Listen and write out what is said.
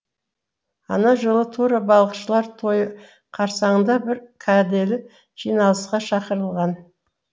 ана жылы тура балықшылар тойы қарсаңында бір кәделі жиналысқа шақырылған